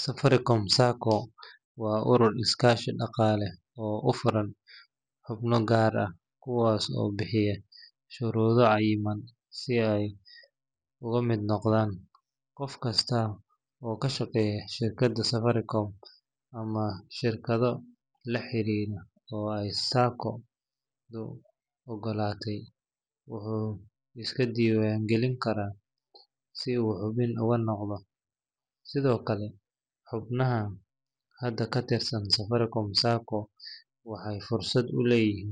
Safaricom Sacco waa urur iskaashi dhaqaale oo u furan xubno gaar ah kuwaas oo buuxiya shuruudo cayiman si ay uga mid noqdaan. Qof kasta oo ka shaqeeya shirkadda Safaricom, ama shirkado la xiriira oo ay Sacco-du oggolaatay, wuu iska diiwaan gelin karaa si uu xubin uga noqdo. Sidoo kale, xubnaha hadda ka tirsan Safaricom Sacco waxay fursad u leeyihiin